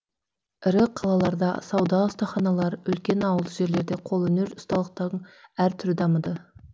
ірі қалаларда сауда ұстаханалар үлкен ауылды жерлерде қолөнер ұсталықтың әр түрі дамыды